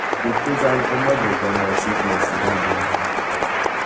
Piik che chang' komache kanyaiset nesire agenge.